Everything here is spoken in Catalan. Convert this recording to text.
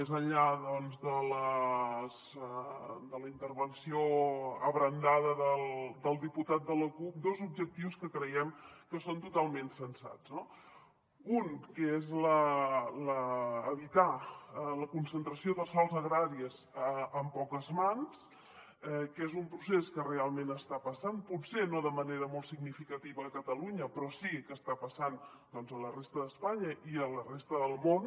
més enllà doncs de la intervenció abrandada del diputat de la cup dos objectius que creiem que són totalment sensats no un que és evitar la concentració de sòls agraris en poques mans que és un procés que realment està passant potser no de manera molt significativa a catalunya però sí que està passant doncs a la resta d’espanya i a la resta del món